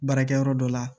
Baarakɛyɔrɔ dɔ la